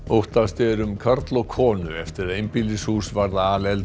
óttast er um karl og konu eftir að einbýlishús varð